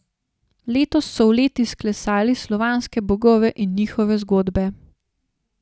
Letos so v led izklesali slovanske bogove in njihove zgodbe.